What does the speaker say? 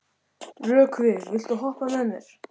Rökkvi, viltu hoppa með mér?